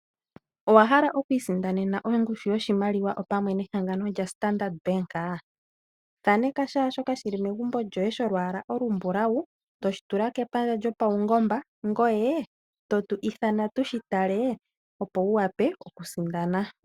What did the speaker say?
Owa hala oku isindanena ongushu yoshimaliwa opamwe nehangano lya Standard bank? thaneka shaashoka shili megumbo lyo ye sholwaala olu mbulawu, toshi tula kepandja lopaungomba ngoye totu ithana tu shi tale opo wu wape oku sindana.